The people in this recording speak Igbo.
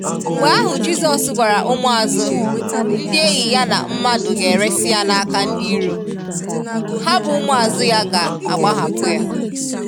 Mgbe ahụ Jizọs gwara ụmụazụ/ndị enyi Ya na mmadụ ga eresi ya n'aka ndị iro, ha bụ ụmụazụ ya ga agbahapụ ya.